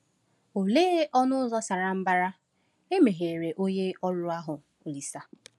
Olee “ọnụ ụzọ sara mbara” e megheere onye ọrụ ahụ Olise?